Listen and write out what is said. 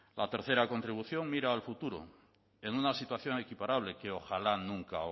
la tercera contribución mirar al futuro en una situación equiparable que ojalá nunca